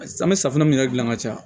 An bɛ safunɛ mun yɛrɛ dilan ka caya